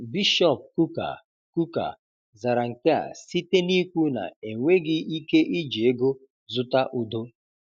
Bishọp Kukah Kukah zara nke a site n'ikwu na 'enweghị ike iji ego zụta udo'.